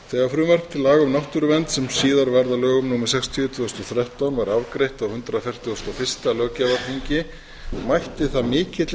þegar frumvarp til laga um náttúruvernd sem síðar varð að lögum númer sextíu tvö þúsund og þrettán var afgreitt á hundrað fertugasta og fyrsta löggjafarþingi mætti það mikilli